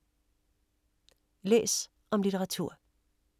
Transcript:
Læs om litteratur